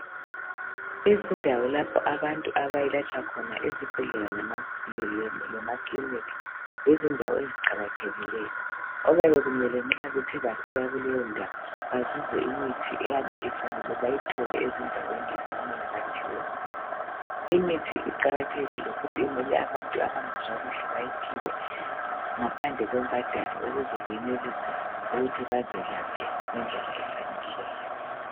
Izindawo lapho abantu abelatshwa khona ezibhedlela lemaclinic lezindawo eziqakathekileyo, okuyabe kumele nxa bathe bafika kuleyo ndawo bazuze imithi eyabe ifanele bayithole ezindaweni lapho okumele baphiwe khona. Imithi iqakathekile futhi inika abantu abangezwa kuhle bayiphiwe ngaphandle kwembhadalo ukuze benelise ukuthi bazelaphe ngendlela efaneleyo.